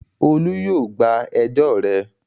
Olú yóò gba ẹjọ́ rẹ.